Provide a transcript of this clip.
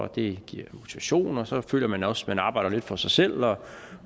det giver motivation og så føler man også at man arbejder lidt for sig selv